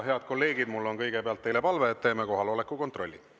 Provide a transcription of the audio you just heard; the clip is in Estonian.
Head kolleegid, mul on kõigepealt teile palve, et teeme kohaloleku kontrolli.